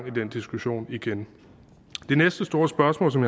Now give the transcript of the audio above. i den diskussion igen den næste store spørgsmål som